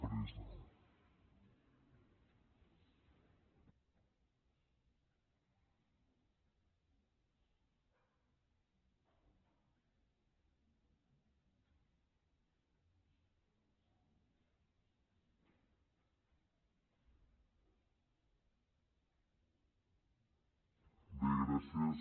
bé gràcies